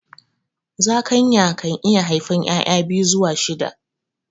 Zakayan kan iya haifan ƴaƴa biyu zuwa shida